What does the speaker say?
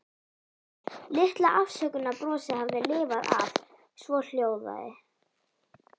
Litla afsökunarbrosið hafði lifað af, svohljóðandi